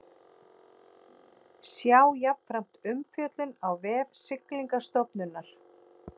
Sjá jafnframt umfjöllun á vef Siglingastofnunar